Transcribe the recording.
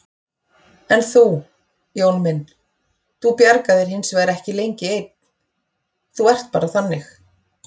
En þú, Jón minn, þú bjargar þér hinsvegar ekki lengi einn, þú ert bara þannig.